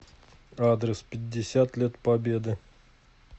адрес пятьдесят лет победы